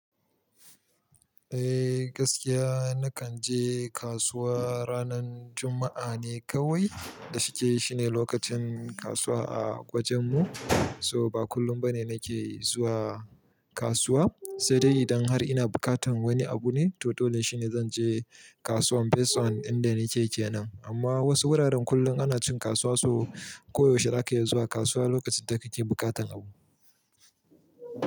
Eh gaskiya nakan je kasuwa ranan Juma'a ne kawai da shike shine lokacin kasuwa a wajen mu, so ba kullun bane nake zuwa kasuwa sai dai idan har ina bukatan wani abu ne, to dole shine zan je kasuwan best one inda nake kenan. Amma wasu wuraren kullun ana cin kasuwa so koyaushe zaka iya zuwa kasuwa lokacin da kake bukatan abu.